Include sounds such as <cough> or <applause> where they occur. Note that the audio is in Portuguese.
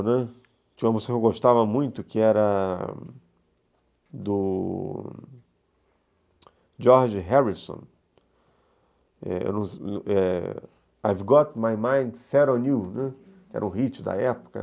Tinha uma música que eu gostava muito, que era do George Harrison, <unintelligible> I've Got My Mind Set On You, que era um hit da época.